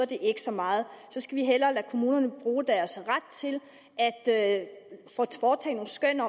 det ikke så meget så skal vi hellere lade kommunerne bruge deres ret til at foretage nogle skøn